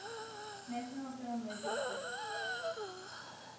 national film registry